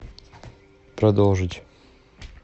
продолжить